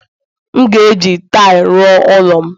M ga-eji taịlị ruo ụlọ m